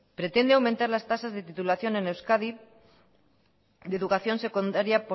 por ciento